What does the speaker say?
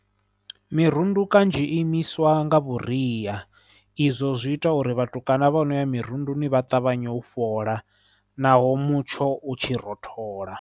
Mirundu kanzhi imiswa nga vhuria izwo zwi ita uri vhatukana vha no ya mirunduni vha ṱavhanye u fhola naho mutsho u tshi rothola.